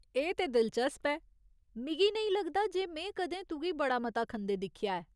एह् ते दिलचस्प ऐ, मिगी नेईं लगदा जे में कदें तुगी बड़ा मता खंदे दिक्खेआ ऐ।